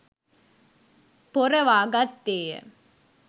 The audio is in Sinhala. පොරවා ගත්තේ ය.